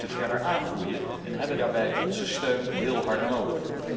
Ze moeten verder aangroeien en hebben daarbij onze steun heel hard nodig.